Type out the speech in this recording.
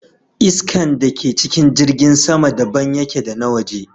Iskan da ke cikin jirgin sama daban yake da na waje